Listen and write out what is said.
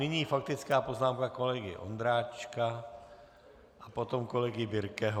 Nyní faktická poznámka kolegy Ondráčka a potom kolegy Birkeho.